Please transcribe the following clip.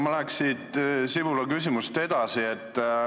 Ma läheks siit Sibula küsimusest edasi.